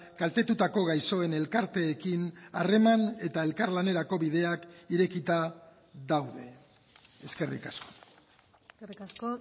kaltetutako gaixoen elkarteekin harreman eta elkarlanerako bideak irekita daude eskerrik asko eskerrik asko